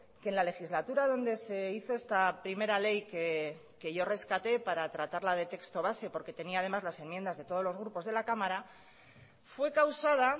que en la legislatura donde se hizo esta primera ley que yo rescaté para tratarla de texto base porque tenía además las enmiendas de todos los grupos de la cámara fue causada